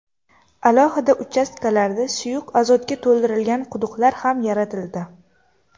Alohida uchastkalarda suyuq azotga to‘ldirilgan quduqlar ham yaratildi.